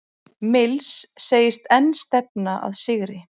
Mills segist enn stefna að sigri